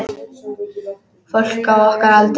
Fólk á okkar aldri.